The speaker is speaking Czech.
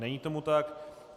Není tomu tak.